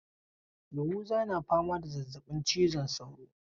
Yahuza na fama da zazzabin cizon sauro.